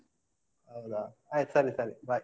ಹೌದಾ ಆಯ್ತು ಸರಿ ಸರಿ bye .